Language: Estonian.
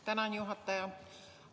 Tänan, juhataja!